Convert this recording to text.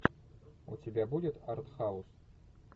у тебя будет арт хаус